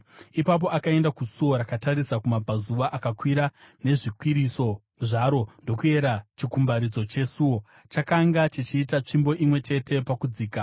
Ipapo akaenda kusuo rakatarisa kumabvazuva. Akakwira nezvikwiriso zvaro ndokuyera chikumbaridzo chesuo; chakanga chichiita tsvimbo imwe chete pakudzika.